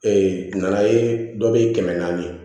nana ye dɔ bɛ kɛmɛ naani